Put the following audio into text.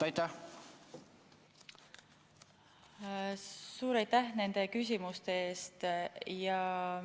Suur aitäh nende küsimuste eest!